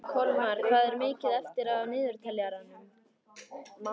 Kolmar, hvað er mikið eftir af niðurteljaranum?